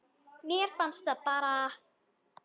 Mér fannst það bara.